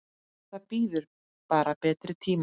Það bíður bara betri tíma.